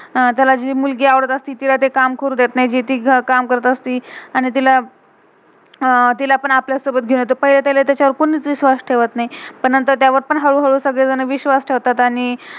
आणि त्याला जी मुलगी आवडत आस्ती, तिला ते काम करू देत नाही, जे ती काम करत असती. आणि तिला अह तिला पण आपल्या सोबत घेउन येतो. पहिला तेच्यावर कोन्ही विश्वास ठेवत नाही, पण नंतर त्यावर हि हलू हलू सगळे जन विश्वास ठेवतात आणि